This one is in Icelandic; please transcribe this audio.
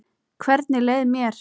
Hvernig leið mér?